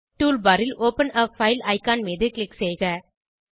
tool bar ல் open a file icon மீது click செய்க